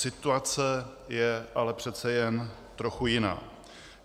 Situace je ale přece jen trochu jiná.